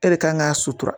E de kan k'a sutura